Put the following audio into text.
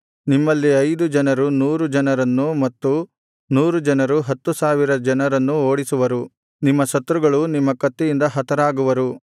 ನಿಮ್ಮಲ್ಲಿ ಐದು ಜನರು ನೂರು ಜನರನ್ನೂ ಮತ್ತು ನೂರು ಜನರು ಹತ್ತು ಸಾವಿರ ಜನರನ್ನೂ ಓಡಿಸುವರು ನಿಮ್ಮ ಶತ್ರುಗಳು ನಿಮ್ಮ ಕತ್ತಿಯಿಂದ ಹತರಾಗುವರು